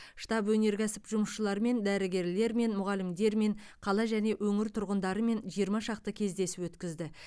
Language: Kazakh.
штаб өнеркәсіп жұмысшыларымен дәрігерлермен мұғалімдермен қала және өңір тұрғындарымен жиырма шақты кездесу өткізді